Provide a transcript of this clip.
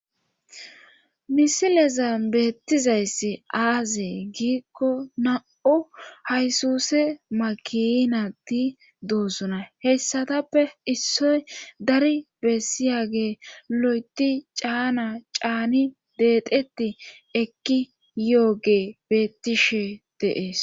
misileza beettizayssi aazee giikko na7u haysuse makinati doosuna heyssatappe issoy dari bessiyage lo7eti caana caani deedeti ekki yo7oge bettishe de7ees